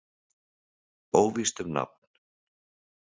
Óvíst um nafn.